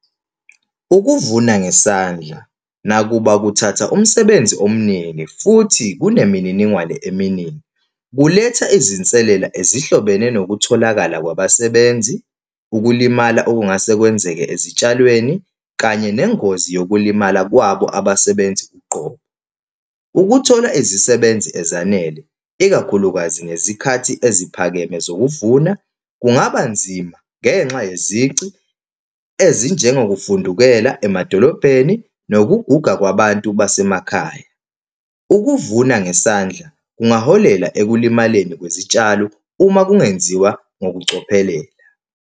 Ukuvuna ngesandla, nakuba kuthatha umsebenzi omningi, futhi kunemininingwane eminingi, kuletha izinselela ezihlobene nokutholakala kwabasebenzi, ukulimala okungase kwenzeke ezitshalweni, kanye nengozi yokulimala kwabo abasebenzi uqobo. Ukuthola izisebenzi ezanele, ikakhulukazi ngezikhathi eziphakeme zokuvuna, kungaba nzima, ngenxa nezici ezinjengongokuvundekela emadolobheni, nokuguga kwabantu basemakhaya. Ukuvuna ngesandla kungaholela ekulimaleni kwezitshalo, uma kungenziwa ngokucophelela.